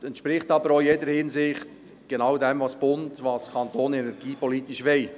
Es entspricht aber auch in jeder Hinsicht genau dem, was der Bund und der Kanton energiepolitisch wollen.